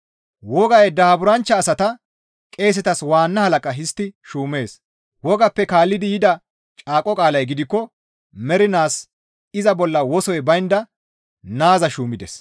Wogay daaburanchcha asata qeesetas waanna halaqa histti shuumees. Wogappe kaallidi yida caaqo qaalay gidikko mernaas iza bolla wosoy baynda naaza shuumides.